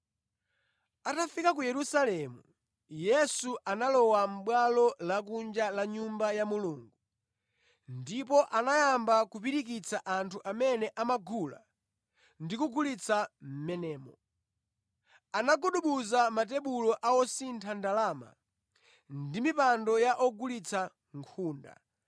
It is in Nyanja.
Atafika ku Yerusalemu, Yesu analowa mʼbwalo lakunja la Nyumba ya Mulungu ndipo anayamba kupirikitsa anthu amene amagula ndi kugulitsa mʼmenemo. Anagubuduza matebulo a osintha ndalama ndi mipando ya ogulitsa nkhunda,